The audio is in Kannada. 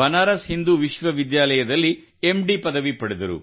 ಬನಾರಸ್ ಹಿಂದೂ ವಿಶ್ವವಿದ್ಯಾಲಯದಲ್ಲಿ ಎಂಡಿ ಪದವಿ ಪಡೆದರು